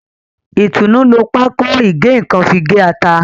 Itunu ló Pákò ìgé-nǹkan fí gé atá.